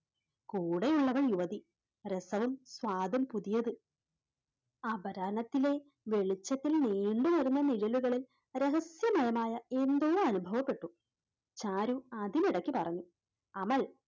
കൂടെയുള്ളവർ യുവതി രസവും സ്വാദും പുതിയത് അപരാനത്തിലെ വെളിച്ചത്തിൽ നീണ്ട് കിടന്ന നിഴലുകളിൽ രഹസ്യമയമായഎന്തോ അനുഭവപ്പെട്ടു. ചാരു അതിനിടയ്ക്ക് പറഞ്ഞു അമൽ